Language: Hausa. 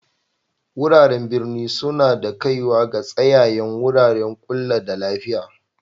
Wuraren birni suna da kaiwa ga tsayayen wuraren ƙulla da lafiya.